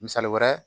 Misali wɛrɛ